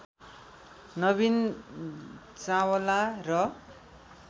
नवीन चावला र